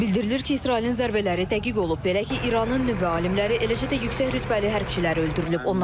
Bildirilir ki, İsrailin zərbələri dəqiq olub, belə ki, İranın nüvə alimləri, eləcə də yüksək rütbəli hərbiçilər öldürülüb.